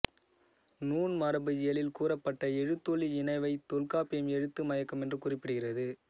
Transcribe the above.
நூன்மரபு இயலில் கூறப்பட்ட எழுத்தொலி இணைவைத் தொல்காப்பியம் எழுத்து மயக்கம் என்று குறிப்பிடுகிறது